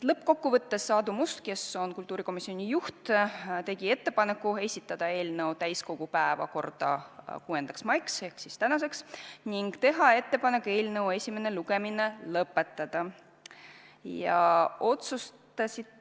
Lõppkokkuvõttes tegi Aadu Must, kes on kultuurikomisjoni juht, ettepaneku esitada eelnõu täiskogu päevakorda 6. maiks ehk tänaseks ning teha ettepaneku eelnõu esimene lugemine lõpetada.